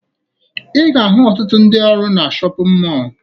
Ị ga-ahụ ọtụtụ ndị ọrụ na shọpịn mọọ